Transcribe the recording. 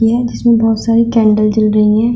जिसमें बहुत सारी कैंडल जल रही है।